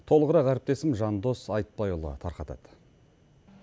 толығырақ әріптесім жандос айтбайұлы тарқатады